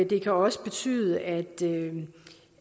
det kan også betyde at